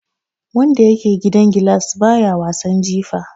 Wanda yake gidan gilas baya wasan jifa.